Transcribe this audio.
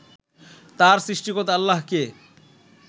তার সৃষ্টিকর্তা আল্লাহকে